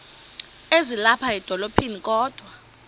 ezilapha edolophini kodwa